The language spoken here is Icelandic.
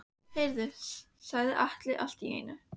Heyrðu, sagði Alli allt í einu.